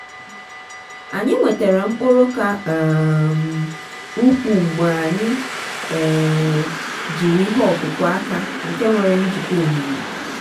anyị nwetara mkpụrụ ka um ukwuu mgbe anyị um jiri ihe ọkụkụ aka nke nwere njikwa omimi.